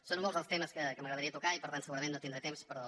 són molts els temes que m’agradaria tocar i per tant segurament no tindré temps però